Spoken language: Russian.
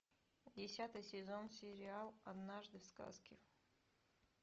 десятый сезон сериал однажды в сказке